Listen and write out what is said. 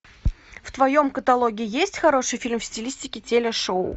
в твоем каталоге есть хороший фильм в стилистике телешоу